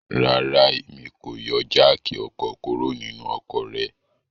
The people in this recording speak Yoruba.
Rara, Emi ko yọ jááki ọkọ kuro ninu ọkọ rẹ